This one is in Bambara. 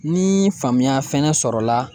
Ni faamuya fɛnɛ sɔrɔ la